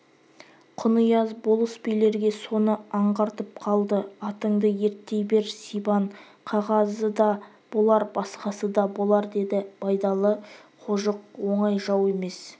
құнияз болыс-билерге соны аңғартып қалды атыңды ерттей бер сибан қағазы да болар басқасы да болар деді байдалы кжық оңай жау емес